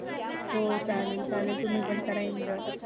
हो चालेल चालेल तुम्ही पण करा enjoy